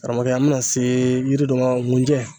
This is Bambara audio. Karamɔgɔkɛ an bɛna se yiri dɔ ma nkunjɛ